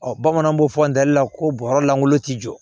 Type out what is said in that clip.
Ɔ bamananw b'o fɔ an dali la ko bɔrɔ lankolon tɛ jɔ